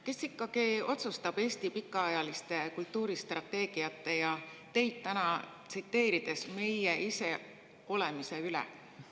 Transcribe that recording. Kes ikkagi otsustab Eesti pikaajaliste kultuuristrateegiate, ja teid täna tsiteerides, meie iseolemise üle?